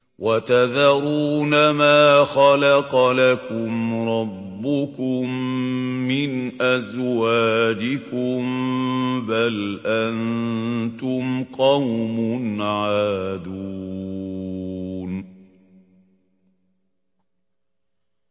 وَتَذَرُونَ مَا خَلَقَ لَكُمْ رَبُّكُم مِّنْ أَزْوَاجِكُم ۚ بَلْ أَنتُمْ قَوْمٌ عَادُونَ